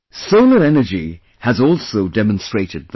Solar energy has also demonstrated that